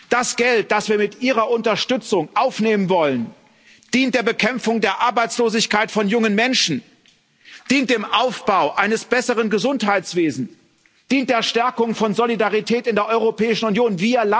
Das Geld, das wir mit Ihrer Unterstützung aufnehmen wollen, dient der Bekämpfung der Arbeitslosigkeit von jungen Menschen, dient dem Aufbau eines besseren Gesundheitswesens, dient der Stärkung von Solidarität in der Europäischen Union.